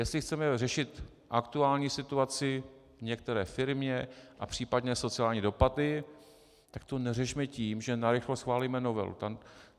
Jestli chceme řešit aktuální situaci v některé firmě a případné sociální dopady, tak to neřešme tím, že narychlo schválíme novelu.